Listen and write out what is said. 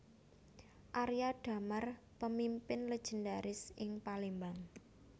Arya Damar Pemimpin legendaris ing Palembang